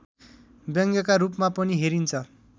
व्यङ्ग्यका रूपमा पनि हेरिन्छ